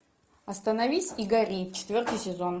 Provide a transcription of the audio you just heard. остановись и гори четвертый сезон